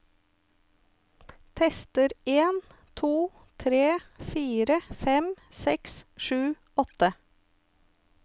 Tester en to tre fire fem seks sju åtte